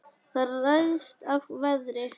Það ræðst af veðri.